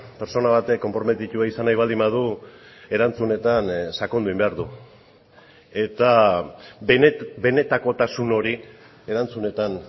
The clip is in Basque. pertsona batek konprometitua izan nahi baldin badu erantzunetan sakondu behar du eta benetakotasun hori erantzunetan